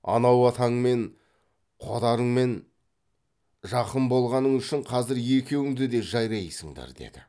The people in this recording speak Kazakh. анау атаңмен қодарыңмен жақын болғаның үшін қазір екеуіңді де жайрайсыңдар деді